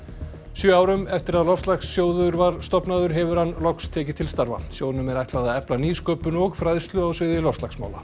sjö árum eftir að loftslagssjóðs var stofnaður hefur hann loks tekið til starfa sjóðnum er ætlað að efla nýsköpun og fræðslu á sviði loftslagsmála